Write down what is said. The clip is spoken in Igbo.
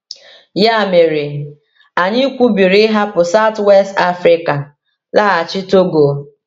Ya mere, anyị kwubiri ịhapụ South-West Africa laghachi Togo.